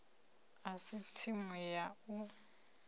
a si tsimu ya u